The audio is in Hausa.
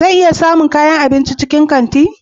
Zan iya samun kayan abinci a cikin kanti?